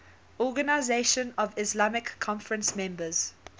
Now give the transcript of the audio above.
organisation of the islamic conference members